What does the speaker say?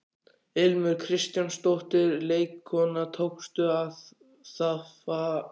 Ilmur Kristjánsdóttir, leikkona: Tókstu það af þér?